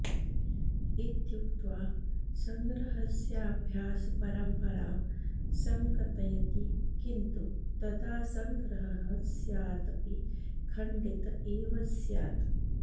इत्युक्त्वा सङ्ग्रहस्याभ्यासपरम्परां सङ्कतयति किन्तु तदा सङ्ग्रहः स्यादपि खण्डित एव स्यात्